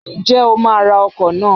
Ǹjẹ́ o máa ra ọkọ̀ náà?